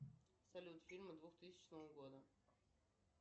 салют фильмы двух тысячного года